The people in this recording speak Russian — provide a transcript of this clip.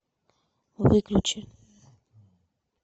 выключи